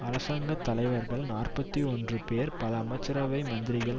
அரசாங்க தலைவர்கள் நாற்பத்தி ஒன்று பேர் பல அமைச்சரவை மந்திரிகள்